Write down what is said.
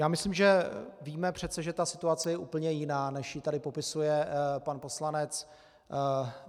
Já myslím, že přece víme, že ta situace je úplně jiná, než ji tady popisuje pan poslanec.